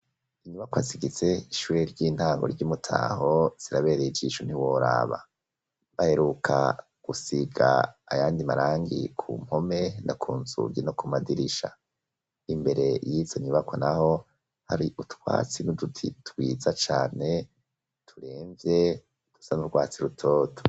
Inyubako zigitse ishure ry'intango ryi Mutaho zirabereye ijisho ntiworaba baheruka gusiga ayandi marangi ku mpome no kunzungi no ku madirisha, imbere yizo nyubakwa naho hari utwatsi n'uduti twiza cane turemvye dusa n'urwatsi rutoto.